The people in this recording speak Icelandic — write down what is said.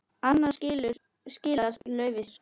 Annars skilar laufið sér.